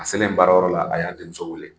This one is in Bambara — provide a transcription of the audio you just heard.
A selen baarayɔrɔ la a y'a denmuso wele